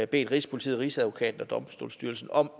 bedt rigspolitiet rigsadvokaten og domstolsstyrelsen om